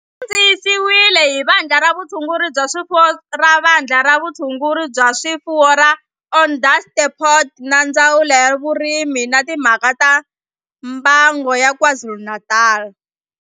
Xi kandziyisiwe hi Vandla ra Vutshunguri bya swifuwo ra Vandla ra Vutshunguri bya swifuwo ra Onderstepoort na Ndzawulo ya Vurimi na Timhaka ta Mbango ya KwaZulu-Natal.